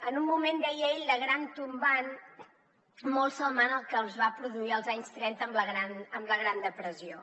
en un moment deia ell de gran tombant molt semblant al que es va produir als anys trenta amb la gran depressió